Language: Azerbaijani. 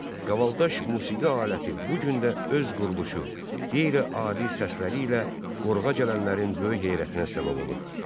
Qavaldaş musiqi aləti bu gün də öz quruluşu, qeyri-adi səsləri ilə qoruğa gələnlərin böyük heyrətinə səbəb olur.